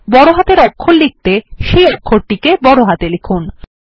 বড় হাতের অক্ষর লিখতে সেই অক্ষরটির নাম বড় হাতে লিখুন